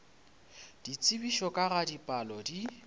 ditsebišo ka ga dipalo di